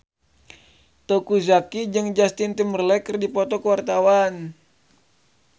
Teuku Zacky jeung Justin Timberlake keur dipoto ku wartawan